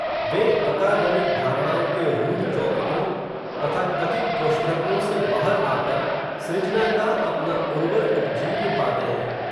वे academic धारणाओं के रूढ़ चौखटों, तथा कथित कोष्ठकों से बाहर आकर, सृजना का अपना उर्वर उपजीव्य पाते हैं